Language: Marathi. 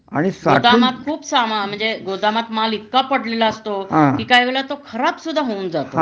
गोदामात खूप सामान म्हणजे गोदामात माल इतका पडलेला असतो कि काहीवेळेला तो खराब सुद्धा होऊन जातो